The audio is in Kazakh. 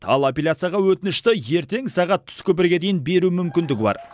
ал аппеляцияға өтінішті ертең сағат түскі бірге дейін беру мүмкіндігі бар